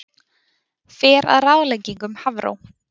Fer að ráðleggingum Hafró